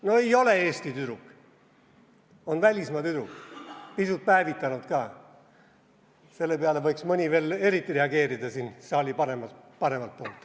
No ei ole Eesti tüdruk, on välismaa tüdruk, pisut päevitunud ka, selle peale võiks mõni saali paremalt poolt veel eriti reageerida.